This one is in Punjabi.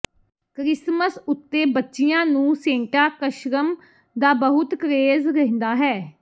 ਕਰਿਸਮਸ ਉੱਤੇ ਬੱਚੀਆਂ ਨੂੰ ਸੇਂਟਾ ਕਸ਼ਰਮ ਦਾ ਬਹੁਤ ਕਰੇਜ ਰਹਿੰਦਾ ਹਨ